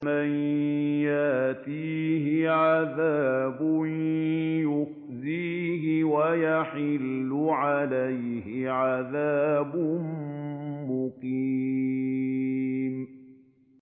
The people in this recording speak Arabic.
مَن يَأْتِيهِ عَذَابٌ يُخْزِيهِ وَيَحِلُّ عَلَيْهِ عَذَابٌ مُّقِيمٌ